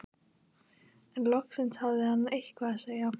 En loksins hafði hann eitthvað að segja.